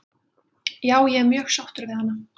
Já ég er mjög sáttur við hana.